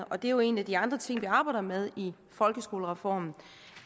og det er jo en af de andre ting som vi arbejder med i folkeskolereformen